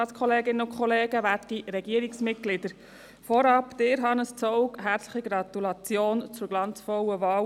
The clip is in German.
Ihnen, Hannes Zaugg, vorab herzliche Gratulation zur glanzvollen Wahl.